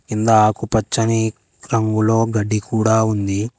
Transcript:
కింద ఆకు పచ్చని రంగులో గడ్డి కూడా ఉంది.